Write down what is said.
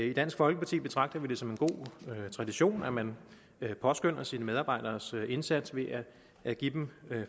i dansk folkeparti betragter vi det som en god tradition at man påskønner sine medarbejderes indsats ved at give dem